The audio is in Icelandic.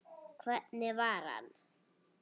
Hvernig var hann?